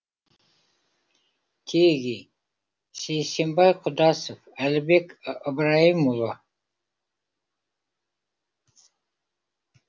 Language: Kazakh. теги сейсенбай құдасов әділбек ыбырайымұлы